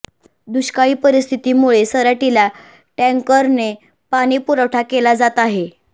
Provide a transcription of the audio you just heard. दुष्काळी परिस्थितीमुळे सराटीला टॅंकरने पाणी पुरवठा केला जात आहे